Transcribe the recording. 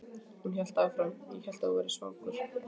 Hún hélt áfram: Ég hélt að þú værir svangur.